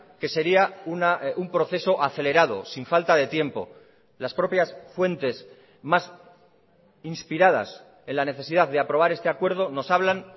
que sería un proceso acelerado sin falta de tiempo las propias fuentes más inspiradas en la necesidad de aprobar este acuerdo nos hablan